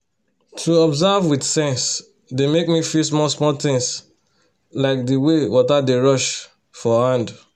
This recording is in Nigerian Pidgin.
to observe with sense dey make me feel small small things like de way water dey rush for hand